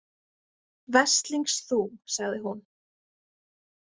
Veslings þú, sagði hún.